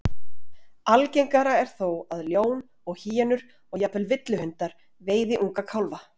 Algengara er þó að ljón og hýenur, og jafnvel villihundar, veiði unga kálfa.